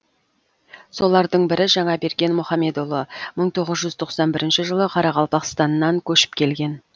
солардың бірі жаңаберген мұхамедұлы мың тоғыз жүз тоқсан бірінші жылы қарақалпақстаннан көшіп келген